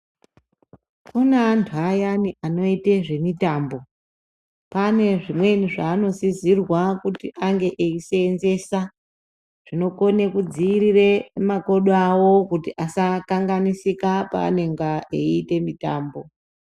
Kune antu ayani anoite zvemitambo, pane zvimweni zveanosisirwe kunge eiseenzesa zvinokone kudziirire makodo awo kuti asakanganisika paanenge eiita mitambo.